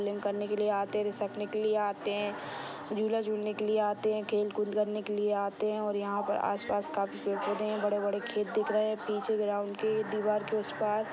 के लिए आते है झूला झूलने के लिए आते है खेल कूदने के लिए आते है और यहा पर आस पास पेड़ पौधे है बड़े बड़े खेत दिख रहे है पीछे ग्राउंड के दीवार के उस पार--